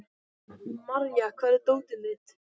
Marja, hvar er dótið mitt?